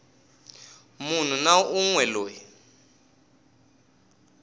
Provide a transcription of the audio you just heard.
munhu na un we loyi